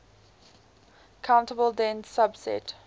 countable dense subset